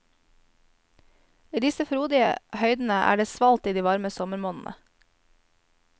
I disse frodige høydene er det svalt i de varme sommermånedene.